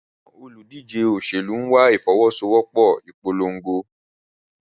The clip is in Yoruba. Àwọn olùdíje òṣèlú ń wá ìfọwọ́sowọ́pọ̀ ìpolongo.